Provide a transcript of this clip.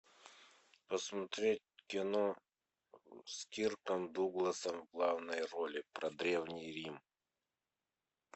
посмотреть кино с кирком дугласом в главной роли про древний рим